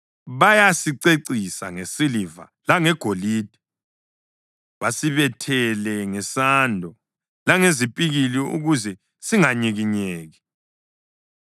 Bayasicecisa ngesiliva langegolide, basibethele ngesando langezipikili ukuze singanyikinyeki.